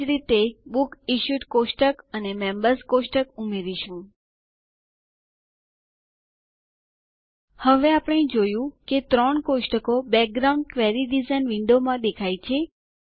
એજ રીતે આપણે books issued table અને મેમ્બર્સ ટેબલ ઉમેરીશું હવે આપણે જોયું કે ત્રણ ટેબલો કોષ્ટકો બેકગ્રાઉન્ડ ક્વેરી ડિઝાઇન વિન્ડો માં દેખાય છે